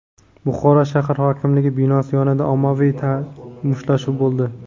Buxoro shahar hokimligi binosi yonida ommaviy mushtlashuv bo‘ldi.